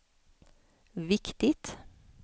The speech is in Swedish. viktigt